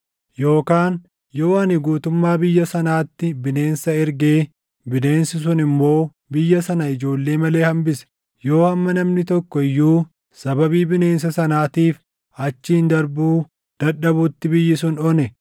“Yookaan yoo ani guutummaa biyya sanaatti bineensa ergee bineensi sun immoo biyya sana ijoollee malee hambise, yoo hamma namni tokko iyyuu sababii bineensa sanaatiif achiin darbuu dadhabutti biyyi sun one,